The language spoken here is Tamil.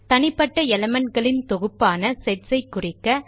தனிப்பட்ட elementகளின் தொகுப்பான செட்ஸ் ஐ குறிக்க